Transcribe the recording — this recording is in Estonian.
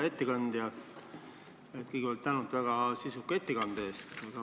Hea ettekandja, kõigepealt tänu väga sisuka ettekande eest!